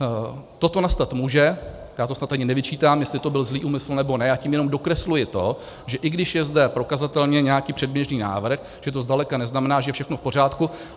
Toto nastat může, já to snad ani nevyčítám, jestli to byl zlý úmysl, nebo ne, já tím jenom dokresluji to, že i když je zde prokazatelně nějaký předběžný návrh, tak to zdaleka neznamená, že je všechno v pořádku.